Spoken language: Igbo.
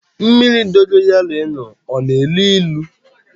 Mmiri dogoyaro ị ṅụrụ a na-elu ilu?